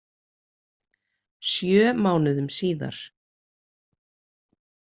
Sjö mánuðum síðar.